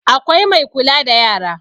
Akwai Mai kula da yara